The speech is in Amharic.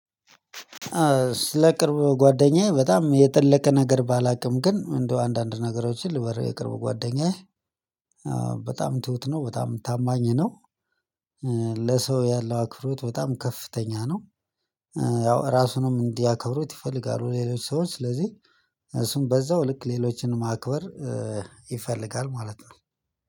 ስለ ቅርብ ጓደኛዬ በጣም የጠለቀ ነገር ባላውቅም ግን እንደው አንዳንድ ነገሮችን ልበሪ የቅርብ ጓደኛዬ በጣም ትሁት ነው በጣም ታማኝ ነው። ለሰው ያለው አክብሮት በጣም ከፍተኛ ነው ያው አራሱንም እንዲያከብሩት ይፈልጋሉ ሌሎች ሰዎች ስለዚህ እሱን በዛው ልክ ሌሎችን ማክበር ይፈልጋል ማለት ነው።